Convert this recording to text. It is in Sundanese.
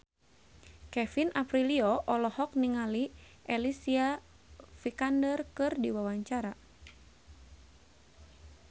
Kevin Aprilio olohok ningali Alicia Vikander keur diwawancara